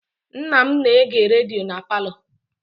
Nna m na-ege redio na palọ.